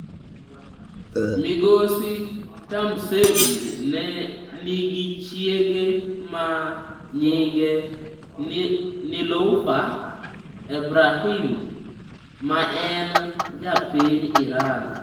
Migosi Tahmasebi ne nigi chiege ma nyinge Niloufar Ebrahim, ma en ja piny Iran.